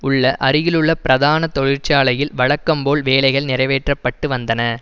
உள்ள அருகிலுள்ள பிரதான தொழிற்சாலையில் வழக்கம்போல் வேலைகள் நிறைவேற்றப்பட்டு வந்தன